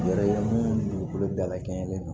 Yɛrɛ munnu dugukolo dalakɛɲɛ